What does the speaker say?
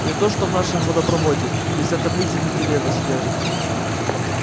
не то что в нашем водопроводе где вся таблица менделеева содержится